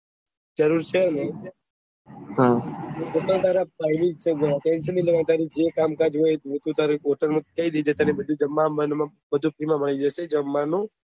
તય છે ને સ્પેશલ તારે જે કામ કાજ હોય જે ભી તારે હોય એ કહી દેજે તને જમવાનું અમ્વાનું બધું ફ્રી માં મળી જજે જમવાનું